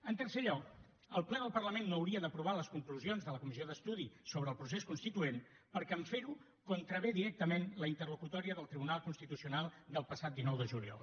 en tercer lloc el ple del parlament no hauria d’aprovar les conclusions de la comissió d’estudi sobre el procés constituent perquè en fer ho contravé directament a la interlocutòria del tribunal constitucional del passat dinou de juliol